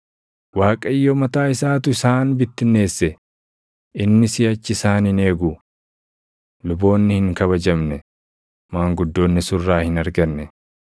Waaqayyo mataa isaatu isaan bittinneesse; inni siʼachi isaan hin eegu. Luboonni hin kabajamne; maanguddoonni surraa hin arganne.